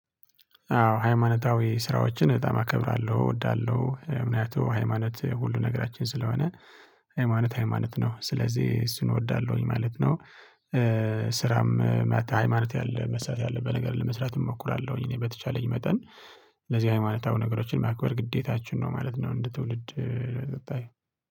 አዎ ሃይማኖታዊ ስራዎችን በጣም አከብራለሁ። እወዳለሁ። ምህንያቱ ሃይማኖት ሁሉ ነገራችን ስለሆነ ሃይማኖት ሃይማኖት ነው ስለዚህ እሱን እወዳለሁ። ማለት ነው። ስራም ማት ሃይማኖት ያለ መስራት ያለ በነገራችን ላይ መስራት እሞክራለሁኝ። እኔ በተቻለኝ መጠን ለዚህ ሃይማኖታዊ ነገሮችን ማክበር ግዴታችን ነው ማለት ነው እንደ ትውልድ የምታይ